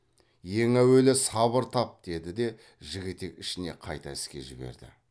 ең әуелі сабыр тап деді де жігітек ішіне қайта іске жіберді